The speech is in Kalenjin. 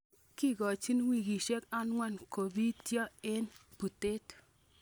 Kigochin wikisiek ang'wan kobityo en butet.